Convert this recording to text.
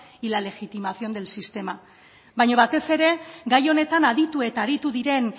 y la legitimación del sistema baina batez ere gai honetan aditu eta aditu diren